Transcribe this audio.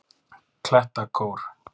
Klettakór